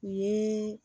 Ni